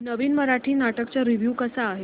नवीन मराठी नाटक चा रिव्यू कसा आहे